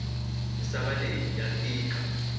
misava leyi yi tika